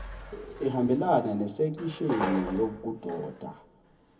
ehambelana nesekisheni yokudoba